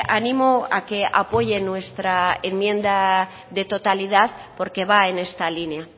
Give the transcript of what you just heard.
animo a que apoye nuestra enmienda de totalidad porque va en esta línea